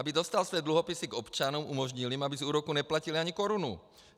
Aby dostal své dluhopisy k občanům, umožnil jim, aby z úroků neplatili ani korunu.